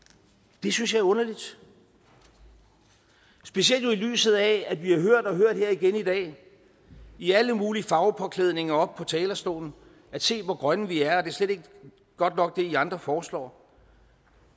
det synes jeg er underligt specielt jo i lyset af at vi har hørt og hørt her igen i dag i alle mulige farvepåklædninger oppe på talerstolen se hvor grønne vi er slet ikke godt nok hvad i andre foreslår